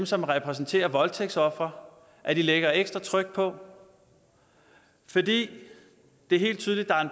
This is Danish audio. som repræsenterer voldtægtsofre at lægge ekstra tryk på for det er helt tydeligt